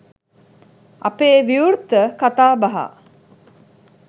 අපේ විවෘත කතාබහ